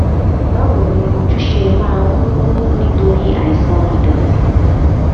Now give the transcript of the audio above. báwo ni ojú ṣe máa ń wú nítorí àìsàn ìdòtí